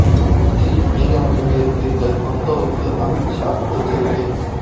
கட்சியில் நீங்க மட்டுமே இருப்பீர்கள் மம்தாவுக்கு அமித் ஷா எச்சரிக்கை